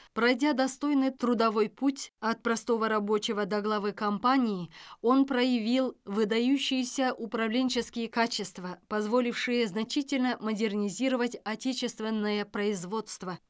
пройдя достойный трудовой путь от простого рабочего до главы компании он проявил выдающиеся управленческие качества позволившие значительно модернизировать отечественное производство